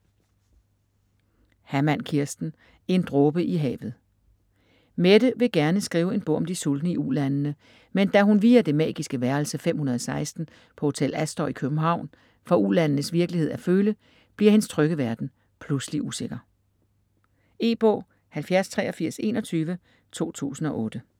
Hammann, Kirsten: En dråbe i havet Mette vil gerne skrive en bog om de sultne i ulandene, men da hun via det magiske værelse 516 på Hotel Astor i København får ulandenes virkelighed at føle, bliver hendes trygge verden pludselig usikker. E-bog 708321 2008.